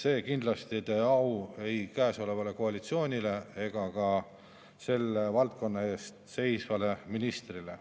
See kindlasti ei tee au ei käesolevale koalitsioonile ega ka selle valdkonna eest seisvale ministrile.